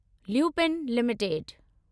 lupin limited